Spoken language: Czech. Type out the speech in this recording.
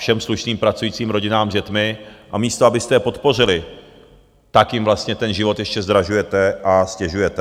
Všem slušným pracujícím rodinám s dětmi a místo abyste je podpořili, tak jim vlastně ten život ještě zdražujete a ztěžujete.